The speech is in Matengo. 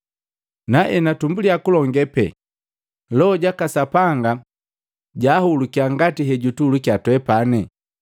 Naenatumbulya kulonge pee, Loho jaka Sapanga jaahulukya ngati hejutuhulukya twepani.